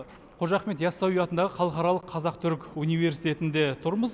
қожа ахмет ясауи атындағы халықаралық қазақ түрік университетінде тұрмыз